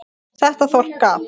Þetta þorp gaf